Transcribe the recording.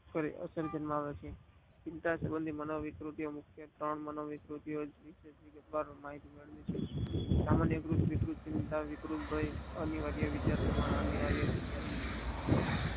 ચિતા ના સમય ની વિકૃતિ માં મુખ્ય ત્રણ વિકૃતિઓ છે. સામાન્ય વિકૃતિમાં અનિવારીય વિકાસ દરમિયાન